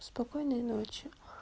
спокойной ночи